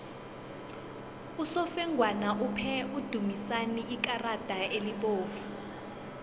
usofengwana uphe udumisani ikarada elibovu